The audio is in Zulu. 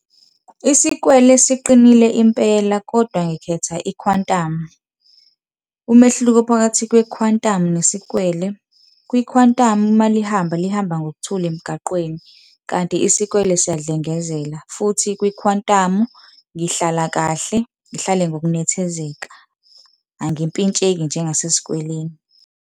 Isikwele siqinile impela kodwa ngikhetha i-Quantum. Umehluko phakathi kwe-Quantum nesikwele, kwi-Quantum uma lihamba, lihamba ngokuthula emgaqweni, kanti isikwele siyadlengezela. Futhi kwi-Quantum ngihlala kahle, ngihlale ngokunethezeka, angimpintsheki njengasesikweleni.